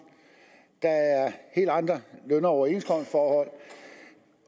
der er helt andre løn og overenskomstforhold